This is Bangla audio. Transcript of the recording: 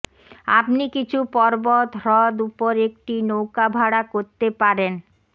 আপনি কিছু পর্বত হ্রদ উপর একটি নৌকা ভাড়া করতে পারেন